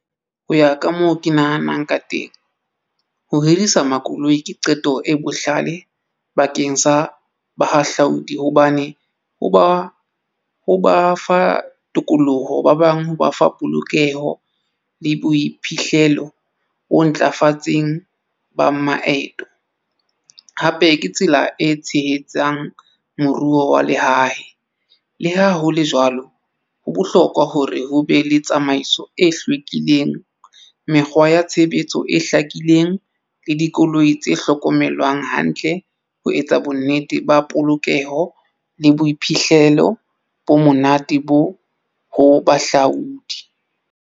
Ho ya ka moo ke nahanang ka teng ho hirisa makoloi ke qeto e bohlale bakeng sa bahahlaudi hobane ho ba fa tokoloho ba bang ho ba fa polokeho le boiphihlelo o ntlafatseng ba maeto, hape ke tsela e tshehetsang moruo wa lehae. Le ha hole jwalo ho bohlokwa hore ho be le tsamaiso e hlwekileng mekgwa ya tshebetso e hlakileng le dikoloi tse hlokomelwang hantle ho etsa bonnete ba polokeho le boiphihlelo bo monate bo ho bahahlaudi.